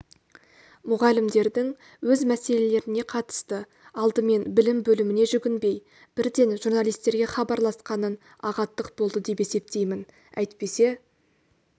мұғалімдердің өз мәселелеріне қатысты алдымен білім бөліміне жүгінбей бірден журналистерге хабарласқанын ағаттық болды деп есептеймін әйтпесе